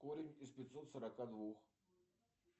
корень из пятьсот сорока двух